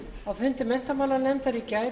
á fundi menntamálanefndar í gær